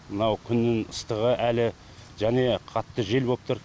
мынау күннің ыстығы әлі және қатты жел боп тұр